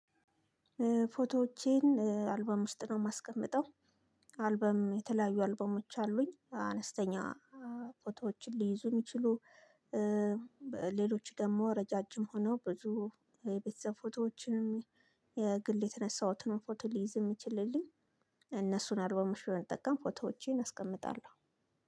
ፎቶዎቼን አልበም ውስጥ ነው የማስቀምጠው። አልበም የተለያዩ አልበሞች አሉኝ አነስተኛ ፎቶዎችን ሊይዙ የሚችሉ። ሌሎች ደግሞ ረጃጅም ሆነው ብዙ የቤተሰብ ፎቶዎችንም። የግል የተነሳሁትን ፎቶ ሊይዝ የሚችልልኝ። እነሱን አልበሞች በመጠቀም ፎቶዎቼን አስቀምጣለሁ።